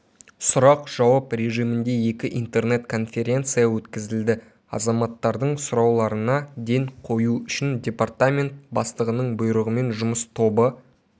сұрақ-жауап режимінде екі интернет-конференция өткізілді азаматтардың сұрауларына ден қою үшін департамент бастығының бұйрығымен жұмыс тобы